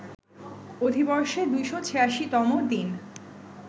অধিবর্ষে ২৮৬ তম দিন